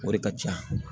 O de ka ca